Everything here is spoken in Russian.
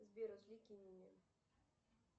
сбер развлеки меня